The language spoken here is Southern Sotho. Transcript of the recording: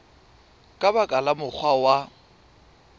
ka ba ka mokgwa wa